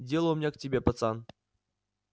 дело у меня к тебе пацан